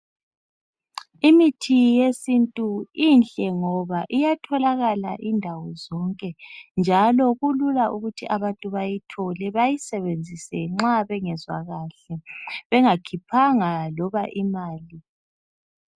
Imithi yesintu inhle ngoba iyatholakala indawo zonke njalo kulula ukuthi abantu bayithole bayisebenzise nxa bengezwa lahle bengakhiphanga loba imali.